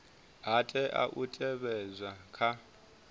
ha tea u teavhedzwa kha